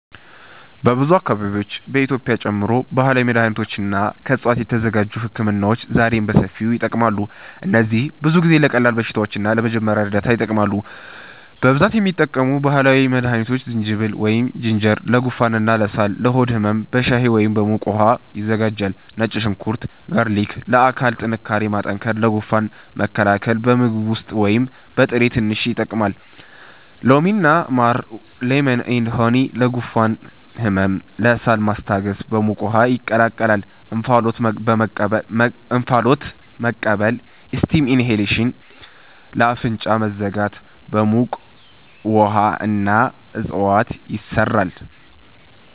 በብዙ አካባቢዎች (በኢትዮጵያ ጨምሮ) ባህላዊ መድሃኒቶች እና ከዕፅዋት የተዘጋጁ ህክምናዎች ዛሬም በሰፊው ይጠቀማሉ። እነዚህ ብዙ ጊዜ ለቀላል በሽታዎች እና ለመጀመሪያ እርዳታ ይጠቅማሉ። 1) በብዛት የሚጠቀሙ ባህላዊ መድሃኒቶች ዝንጅብል (Ginger) ለጉንፋን እና ሳል ለሆድ ህመም በሻይ ወይም በሙቅ ውሃ ይዘጋጃል ነጭ ሽንኩርት (Garlic) ለአካል ጥንካሬ ማጠናከር ለጉንፋን መከላከል በምግብ ውስጥ ወይም በጥሬ ትንሽ ይጠቀማል ሎሚ እና ማር (Lemon & Honey) ለጉሮሮ ህመም ለሳል ማስታገስ በሙቅ ውሃ ይቀላቀላል እንፋሎት መቀበል (Steam inhalation) ለአፍንጫ መዘጋት በሙቅ ውሃ እና እፅዋት ይሰራል